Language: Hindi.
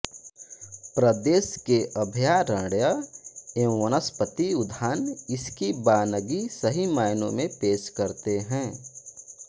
प्रदेश के अभयारण्य एवं वनस्पति उद्यान इसकी बानगी सही मायनों में पेश करते हैं